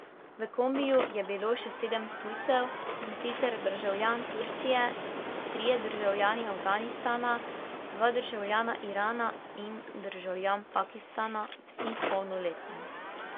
V kombiju je bilo še sedem tujcev, in sicer državljan Turčije, trije državljani Afganistana, dva državljana Irana in državljan Pakistana, vsi polnoletni.